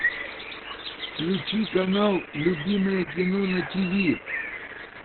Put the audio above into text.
включи канал любимое кино на тв